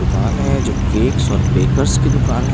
दुकान है जो केक्स और बेकर्स की दुकान है।